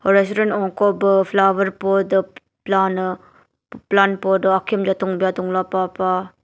restaurant unkoh bvh flower bvh plant pot akiaum goh tungbia tunglah pah pah.